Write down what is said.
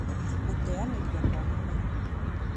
gũteanĩria kwa mĩmera